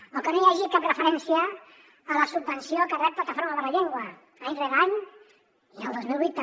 o que no hi hagi cap referència a la subvenció que rep plataforma per la llengua any rere any i el dos mil vuit també